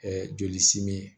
joli simin